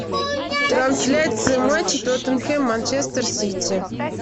трансляция матча тоттенхэм манчестер сити